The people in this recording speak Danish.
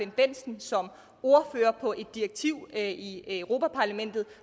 bendtsen som ordfører på et direktiv i europa parlamentet